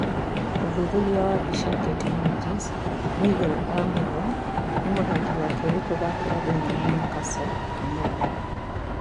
ũthuthuria wa mbica ,Getty Images Miguel Almiron nĩ mũthaki wa kerĩ kũthakĩra thĩĩinĩ wa Newscastle ũmuthĩ.